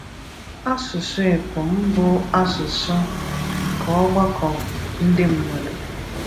Ásụ̀sụ̀ épùm bụ́ áṣụ̀sụ̀ nke ọ̀gbakọ̀ ndị̀ mmadụ.